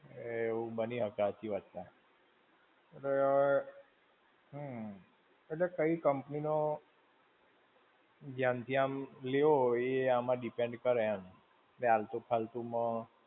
એવું બની શકે, હાચી વાત છે. અને હમ્મ, એટલે કઈ company નો ધ્યાનથી આમ લો એ આમ depend કરે એમ.